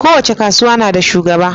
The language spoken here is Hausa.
kowace kasuwa nada shugaba